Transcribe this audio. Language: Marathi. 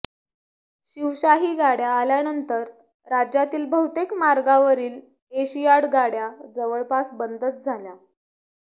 शिवशाही गाडया आल्यानंतर राज्यातील बहुतेक मार्गावरील एशियाड गाड्या जवळपास बंदच झाल्या